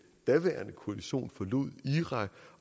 daværende koalition forlod irak